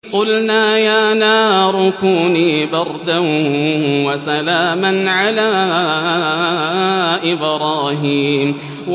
قُلْنَا يَا نَارُ كُونِي بَرْدًا وَسَلَامًا عَلَىٰ إِبْرَاهِيمَ